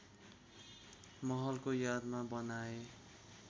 महलको यादमा बनाए